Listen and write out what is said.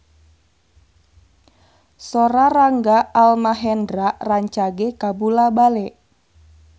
Sora Rangga Almahendra rancage kabula-bale